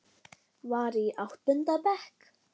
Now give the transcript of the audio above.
Tókstu þau í óleyfi?